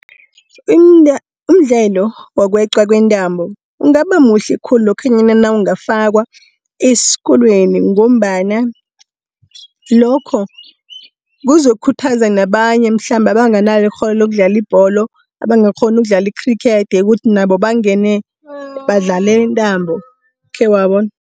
Umdlelo wokweqwa kwentambo, ungaba muhle khulu lokhanyana nakangafakwa eskolweni ngombana lokho kuzokhuthaza nabanye mhlambe abanganalo ikghono lokudlala ibholo, abangakghoni ukudlala ikhrikhethi, ukuthi nabo bangene badlale intambo khewabona.